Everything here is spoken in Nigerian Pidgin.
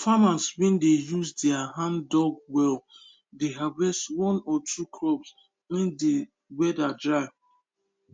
farmers wey dey use their handdug well dey harvest one or two crops when de weather dry